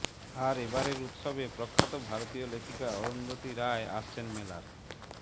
আর এবারের উৎসবে প্রখ্যাত ভারতীয় লেখিকা অরুন্ধতী রায় আসছেন মেলার